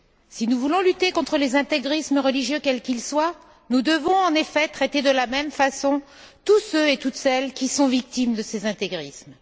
Si nous voulons lutter contre les intégrismes religieux quels qu'ils soient, nous devons en effet traiter de la même façon tous ceux et toutes celles qui sont victimes de ces intégrismes.